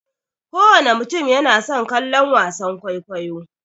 Kowana mutum yana son kallon wasan kwaikwayo.